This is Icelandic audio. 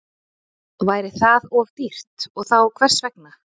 Væri það of dýrt og þá hvers vegna?